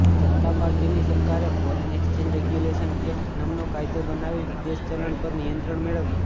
જનતા પાર્ટીની સરકારે foreign exchange regulation act નામનો કાયદો બનાવી વિદેશી ચલણ પર નિયંત્રણ મેળવ્યું